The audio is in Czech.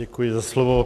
Děkuji za slovo.